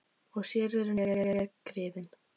Og sér eru nú hver griðin!